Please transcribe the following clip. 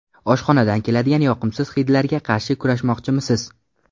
Oshxonadan keladigan yoqimsiz hidlarga qarshi kurashmoqchimisiz?